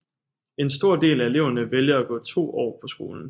En stor del af eleverne vælger at gå to år på skolen